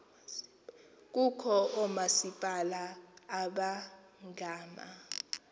kukho oomasipala abangama